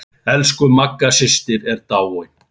Elsku Magga systir er dáin.